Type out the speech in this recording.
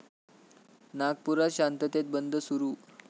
नागपुरात शांततेत बंद सुरू